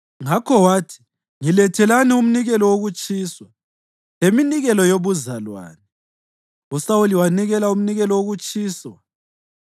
Ngakho wathi, “Ngilethelani umnikelo wokutshiswa leminikelo yobuzalwane.” USawuli wanikela umnikelo wokutshiswa.